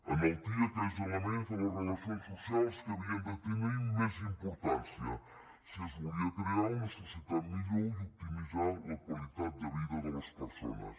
enaltia aquells elements de les relacions socials que havien de tenir més importància si es volia crear una societat millor i optimitzar la qualitat de vida de les persones